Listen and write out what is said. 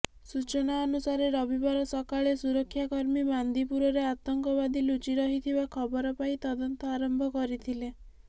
ସୂଚନା ଅନୁସାରେ ରବିବାର ସକାଳେ ସୁରକ୍ଷାକର୍ମୀବାନ୍ଦିପୁରରେ ଆତଙ୍କବାଦୀ ଲୁଚି ରହିଥିବା ଖବର ପାଇ ତଦନ୍ତ ଆରମ୍ଭ କରିଥିଲେ